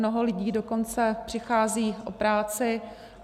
Mnoho lidí dokonce přichází o práci.